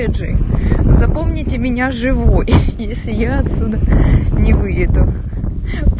этже запомните меня живой если я отсюда не выйду